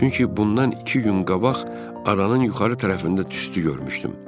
Çünki bundan iki gün qabaq aranın yuxarı tərəfində tüstü görmüşdüm.